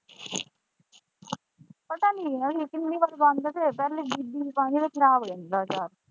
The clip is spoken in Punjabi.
ਪਤਾ ਨਹੀਂ ਯਾਰ ਅਸੀਂ ਕਿੰਨੀ ਵਾਰੀ ਪਾਉਂਦੇ ਫਿਰ ਚੱਲ ਬੀਬੀ ਵੀ ਪਾਉਂਦੀ ਫਿਰ ਖਰਾਬ ਹੋ ਜਾਂਦਾ ਹੈ ਅਚਾਰ।